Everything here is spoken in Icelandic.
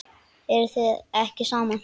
Eruð þið ekki saman?